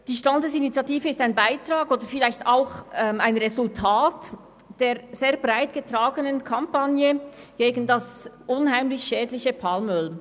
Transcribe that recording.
Die Standesinitiative ist ein Beitrag oder vielleicht auch ein Resultat der sehr breit getragenen Kampagne gegen das unheimlich schädliche Palmöl.